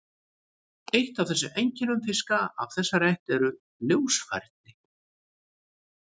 Eitt af helstu einkennum fiska af þessari ætt eru ljósfærin.